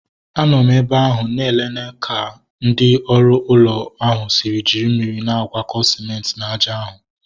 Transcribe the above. Anọ m ebe ahụ na enene etu ndị oru ụlọ ahu si jiri mmiri na-agwọko sịmenti na aja ahụ